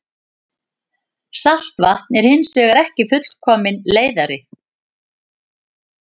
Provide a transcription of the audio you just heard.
Saltvatn er hins vegar ekki fullkominn leiðari.